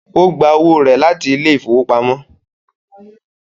Ó gba owó rẹ̀ láti ilé ìfowópamọ́